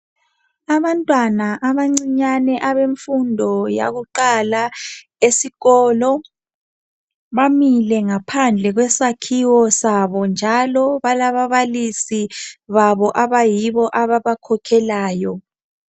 Abantwana abancinyane abemfundo yakuqala esikolo bamile ngaphandle kwesakhiwo sabo njalo balababalisi babo abayibo ababakhokhelayo